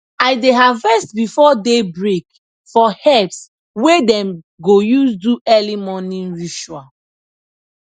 i dey harvest before day break for herbs wey dem go use do early morning ritual